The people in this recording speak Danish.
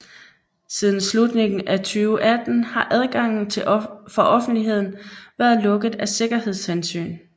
Siden slutningen af 2018 har adgangen for offentligheden været lukket af sikkerhedshensyn